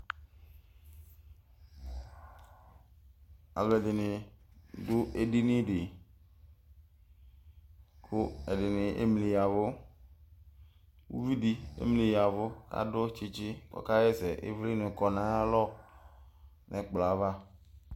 Alʋ ɛdin dʋ edini di kʋ ɛdini emli ya ɛvʋ ʋvidi emli ya ɛvʋ kʋ adʋ tsitsi kʋ ɔkaxa ɛsɛ ivlini kɔ nʋ ayʋ alɔ nʋ ɛkplɔ ava